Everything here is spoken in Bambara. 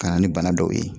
Ka na ni bana dɔw ye